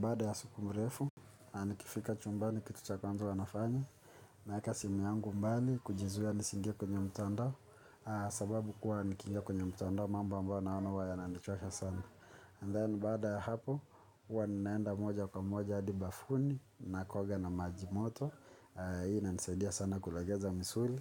Baada ya siku mrefu, nikifika chumbani kitu cha kwanza huwa nafanya. Naeka simu yangu mbali, kujizuia nisi ingie kwenye mtandao. Sababu kuwa nikiingia kwenye mtandao, mambo ambayo naona huwa yananichosha sana. And then baada ya hapo, huwa ninaenda moja kwa moja adi bafuni, nako oga na maji moto. Hii ina nisaidia sana kulegeza misuli.